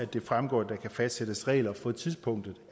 det fremgår at der kan fastsættes regler for tidspunktet